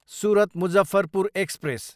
Surat, Muzaffarpur express